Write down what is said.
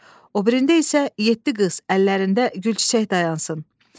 O birində isə yeddi qız əllərində gülçiçək dayansın.